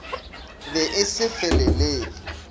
be e se e felelele